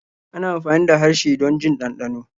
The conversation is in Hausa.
ana amfani da harshe don jin dandano.